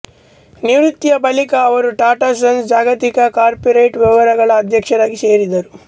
ನಿವೃತ್ತಿಯ ಬಳಿಕ ಅವರು ಟಾಟಾ ಸನ್ಸ್ ಜಾಗತಿಕ ಕಾರ್ಪೊರೇಟ್ ವ್ಯವಹಾರಗಳ ಅಧ್ಯಕ್ಷರಾಗಿ ಸೇರಿದರು